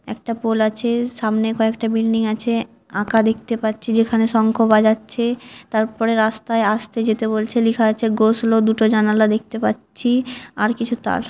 একটা পোল আছে সামনে কয়েকটা বিল্ডিং আছে আঁকা দেখতে পাচ্ছি যেখানে শঙ্খ বাজাচ্ছে তারপরে রাস্তায় আসতে যেতে বলছে লেখা আছে "গো স্লো " দুটো জানালা দেখতে পাচ্ছি আর কিছু তার।